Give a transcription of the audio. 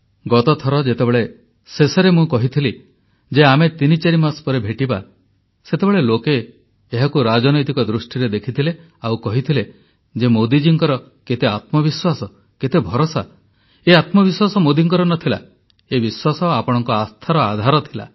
ଗତଥର ଯେତେବେଳେ ଶେଷରେ ମୁଁ କହିଥିଲି ଯେ ଆମେ ତିନିଚାରି ମାସ ପରେ ଭେଟିବା ସେତେବେଳେ ଲୋକେ ଏହାକୁ ରାଜନୈତିକ ଦୃଷ୍ଟିରେ ଦେଖିଥିଲେ ଆଉ କହିଥିଲେ ଯେ ମୋଦୀଜୀଙ୍କର କେତେ ଆତ୍ମବିଶ୍ୱାସ କେତେ ଭରସା ଏ ଆତ୍ମବିଶ୍ୱାସ ମୋଦୀଙ୍କର ନ ଥିଲା ଏ ବିଶ୍ୱାସ ଆପଣଙ୍କ ଆସ୍ଥାର ଆଧାର ଥିଲା